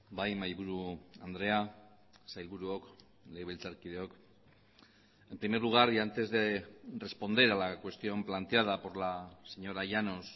bai mahaiburu andrea sailburuok legebiltzarkideok en primer lugar y antes de responder a la cuestión planteada por la señora llanos